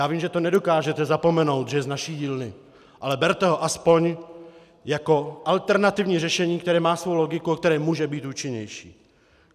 Já vím, že to nedokážete zapomenout, že je z naší dílny, ale berte ho aspoň jako alternativní řešení, které má svou logiku a které může být účinnější.